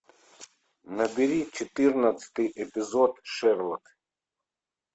набери четырнадцатый эпизод шерлок